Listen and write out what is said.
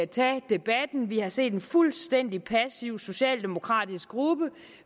tage debatten vi har set en fuldstændig passiv socialdemokratisk gruppe